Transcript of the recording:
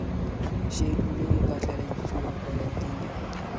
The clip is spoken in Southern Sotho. shejulu e phatlaladitsweng koranteng ya